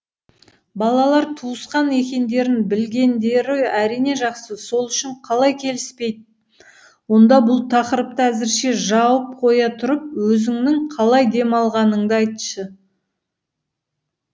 балалар туысқан екендерін білгендері әрине жақсы сол үшін қалай келіспейді онда бұл тақырыпты әзірше жауып қоя тұрып өзіңнің қалай демалғаныңды айтшы